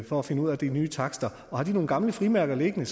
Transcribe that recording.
for at finde ud af de nye takster har de nogle gamle frimærker liggende